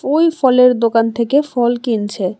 ওই ফলের দোকান থেকে ফল কিনছে।